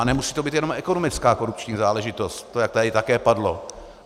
A nemusí to být jenom ekonomická korupční záležitost, jak to tady také padlo.